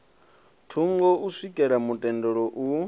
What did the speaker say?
thungo u swikela mutendelo u